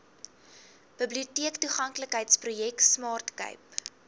biblioteektoeganklikheidsprojek smart cape